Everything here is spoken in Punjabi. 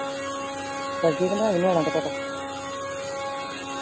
ਲਿਆਵੇ ਨਿਆਣਿਆਂ ਦਾ ਪਤਾ